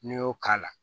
N'i y'o k'a la